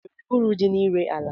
O nwere uru dị n'ire ala?